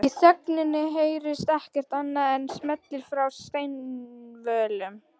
Í þögninni heyrist ekkert annað en smellir frá steinvölum